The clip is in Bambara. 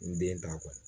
N den t'a kɔnɔ